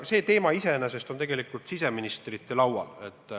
See teema iseenesest on aga tegelikult siseministrite laual.